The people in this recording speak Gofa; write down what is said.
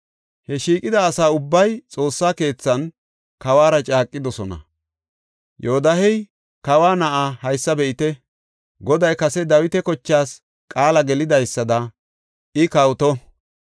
He shiiqida asa ubbay Xoossa keethan kawuwara caaqidosona. Yoodahey, “Kawa na7aa haysa be7ite! Goday kase Dawita kochaas qaala gelidaysada I kawoto.